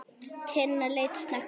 Tinna leit snöggt á hann.